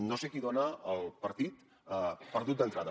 no sé qui dona el partit per perdut d’entrada